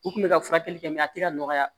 U kun bɛ ka furakɛli kɛ mɛ a tɛ ka nɔgɔya